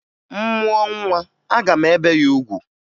M mụọ nwa, aga m ebe ya ugwu